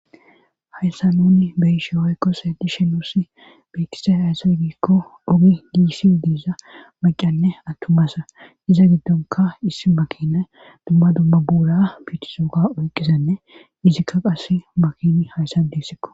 Hayssa nunni beyishe oykkose dishe nuusi biikise hayssoy giikko ogi giissi diiza maqanne attumassa iza giddonka issi makinay dumma dumma buura biitisooka oyqqisenne izikka qas makini hayssan diissikko